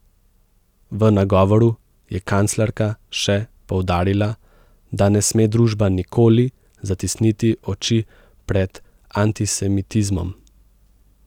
V nagovoru je kanclerka še poudarila, da ne sme družba nikoli zatisniti oči pred antisemitizmom.